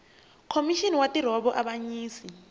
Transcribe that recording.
khomixini ya ntirho wa vuavanyisi